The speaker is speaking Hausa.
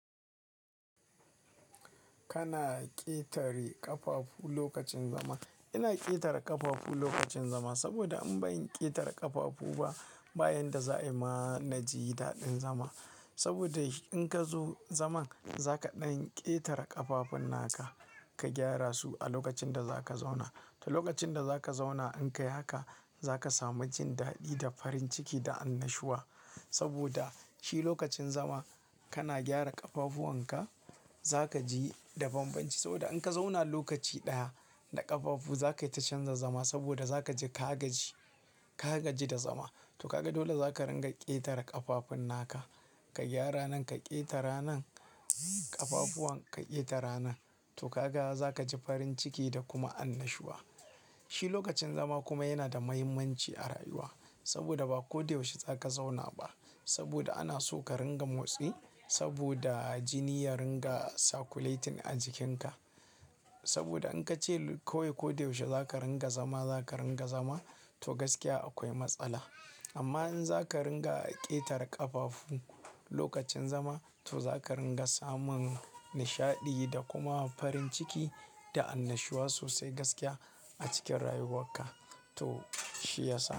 Kana ƙetare ƙafafu lokacin zama. Ina ƙetare ƙafafu lokacin zama saboda an bani ƙetare ƙafafu ba bayan da za a yi mana jidaɗin zama. Saboda shi in ka zo zaman, za ka ɗan ƙetare ƙafafun naka ka gyara su a lokacin da za ka zauna. To lokacin da za ka zauna in ka yi haka, za ka sami jin daɗi da farin ciki da annashuwa saboda shi lokacin zama kana gyara ƙafafuwan ka, za ka ji da banbanci saboda in ka zauna lokaci ɗaya da ƙafafu, za ka yi ta canza zama saboda za ka ji ka gaji, ka gaji da zama. To kaga dole za ka ringa ƙetare ƙafafun naka, ka gyara nan ka ƙetare nan ƙafafun ka ƙetare nan. To ka ga za ka ji farin ciki da kuma annashuwa. Shi lokacin zama kuma yana da mahimmanci a rayuwa saboda ba ko da yaushe za ka zauna ba saboda ana so ka ringa motsi saboda jini ya ringa circulating a jikinka. Saboda in ka ce kawai ko da yaushe za ka ringa zama, za ka ringa zama, to gaskiya akwai matsala. Amma in za ka ringa ƙetare ƙafafu lokacin zama, to za ka ringa samun nishaɗi da kuma farin ciki da annashuwa sosai gaskiya a cikin rayuwarka to shi ya sa.